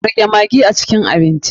Rage maggi a cikin abinci.